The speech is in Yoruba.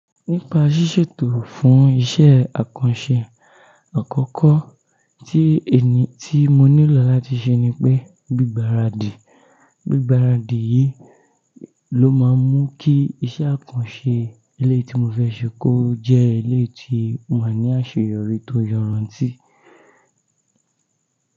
Nípa ṣíṣètò fún iṣẹ́ àkànṣe, àkọ́kọ́ tí ènì tí mo nílò láti ṣe ni pé gbígbáradì. Gbígbáradì yìí ló máa mú kí iṣẹ́ àkànṣe eléyìí tí mo fẹ́ ṣe kó jẹ́ ilé tí ó máa ní àṣeyọrí tó yọríntí.